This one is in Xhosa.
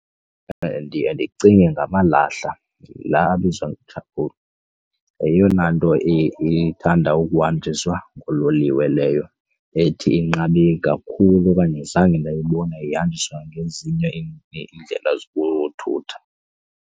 Ndiye ndicinge ngamalahle la abizwa yeyona nto ithanda ukuhanjiswa ngoololiwe leyo ethi inqabe kakhulu okanye zange ndayibona ihanjiswa ngezinye iindlela zothutha.